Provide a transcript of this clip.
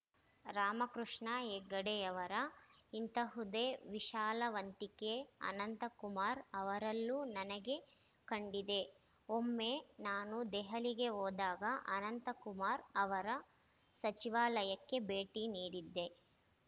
ರಾಮಕೃಷ್ಣ ಹೆಗಡೆಯವರ ಇಂತಹುದೇ ವಿಶಾಲವಂತಿಕೆ ಅನಂತ ಕುಮಾರ್‌ ಅವರಲ್ಲೂ ನನಗೆ ಕಂಡಿದೆ ಒಮ್ಮೆ ನಾನು ದೆಹಲಿಗೆ ಹೋದಾಗ ಅನಂತ ಕುಮಾರ್‌ ಅವರ ಸಚಿವಾಲಯಕ್ಕೆ ಭೇಟಿ ನೀಡಿದ್ದೆ